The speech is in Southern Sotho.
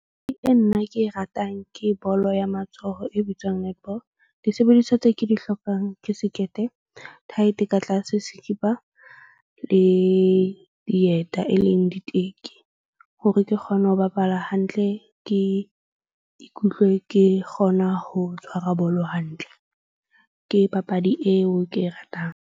E nna ke e ratang ke bolo ya matsoho e bitswang netball. Disebediswa tse ke di hlokang ke sekete, tight-e ka tlase, sekipa le dieta e leng diteki. Hore ke kgone ho bapala hantle. Ke ikutlwe ke kgona ho tshwara bolo hantle. Ke papadi eo ke e ratang.